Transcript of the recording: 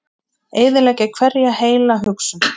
Eyðileggja hverja heila hugsun.